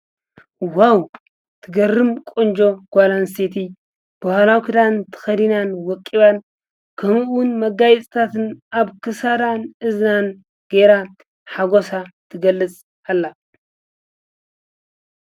ዋው ትገርም ቆንጎ ጓላን ሴቲ ብሃላውክዳን ትኸዲናን ወቂባን ከምኡን መጋይጽታትን ኣብ ክሣራን እዝናን ገይራ ሓጐሳ ትገልጽ ኣላ::